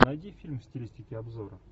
найди фильм в стилистике обзора